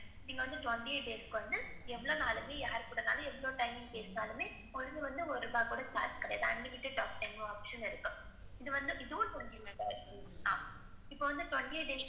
நீங்க வந்து twenty eight days க்கு வந்து எவ்ளோ நாளைக்கு யார் கூடன்னாலும், எவ்ளோ time பேசினாலுமே உங்களுக்கு ஒரு ரூபா கூட charge கிடையாது unlimited talk time option இருக்கு இது வந்து ஆஹ் இப்ப வந்து twenty eight days.